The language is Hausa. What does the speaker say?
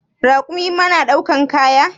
Rakumi ma na daukan kaya?